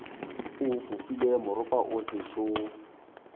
o fofile moropa o sešo